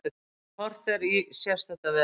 Þegar horft er í sést þetta vel.